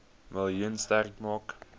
miljoen sterk maak